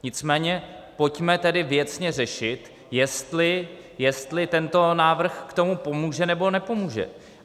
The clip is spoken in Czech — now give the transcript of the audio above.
Nicméně pojďme tedy věcně řešit, jestli tento návrh k tomu pomůže, nebo nepomůže.